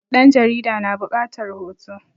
ɗan jarida na bukatar hoto